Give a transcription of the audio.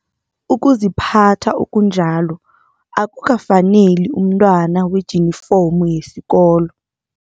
Ukuziphatha okunjalo akukafaneli umntwana wejinifomu yesikolo.